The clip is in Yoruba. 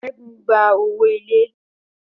Segun gba owó ilé.